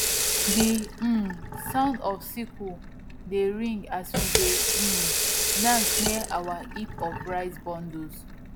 the um sound of sickles dey ring as we dey um dance near our heap of rice bundles